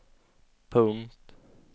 punkt